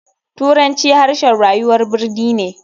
Turanci harshen rayuwar birni ne.